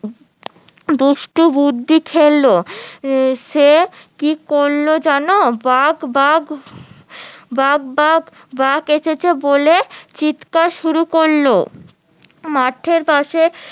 দুষ্টু বুদ্ধি খেললো সে কি করলো জানো বাঘ বাঘ বাঘ বাঘ বাঘ এসেছে বলে চিৎকার শুরু করলো মাঠের পাশে